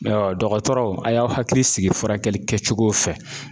dɔgɔtɔrɔw a' y'aw hakili sigi furakɛli kɛcogow fɛ